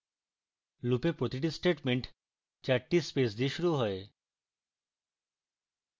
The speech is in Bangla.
loop এ প্রতিটি statement 4 টি স্পেস দিয়ে শুরু হয়